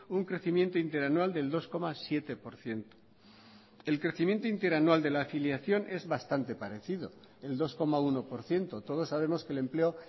un crecimiento interanual del dos coma siete por ciento el crecimiento interanual de la afiliación es bastante parecido el dos coma uno por ciento todos sabemos que el empleo